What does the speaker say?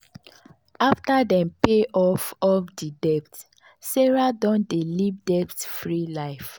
after dem pay off off di debt sarah don dey live debt free life.